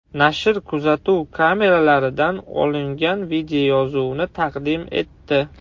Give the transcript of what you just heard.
Nashr kuzatuv kameralaridan olingan videoyozuvni taqdim etdi.